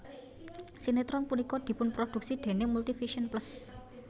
Sinetron punika dipunproduksi déning Multivision Plus